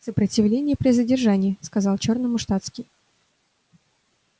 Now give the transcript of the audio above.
сопротивление при задержании сказал чёрному штатский